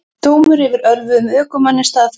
Dómur yfir ölvuðum ökumanni staðfestur